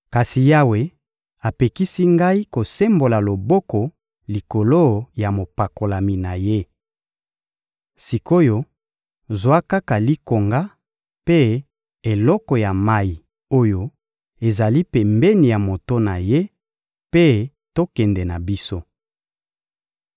Kasi Yawe apekisi ngai kosembola loboko likolo ya mopakolami na Ye. Sik’oyo, zwa kaka likonga mpe eloko ya mayi oyo ezali pembeni ya moto na ye, mpe tokende na biso.